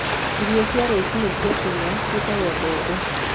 Irio cia rũcinĩ cia Kenya ciĩtagwo mbembe.